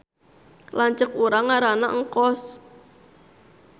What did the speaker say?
Lanceuk urang ngaranna Engkos